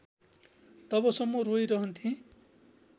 तबसम्म रोइरहन्थेँ